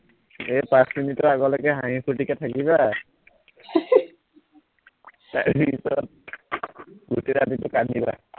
এই পাঁচ মিনিটৰ আগলৈকে হাঁহি ফুৰ্তিকে থাকিবা চাৰি মিনিটত গোটেই ৰাতিটো কান্দিবা